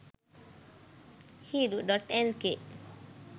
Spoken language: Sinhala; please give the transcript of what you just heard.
hiru.lk